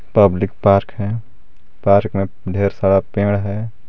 Public park है park में ढेर सारा पेड़ है।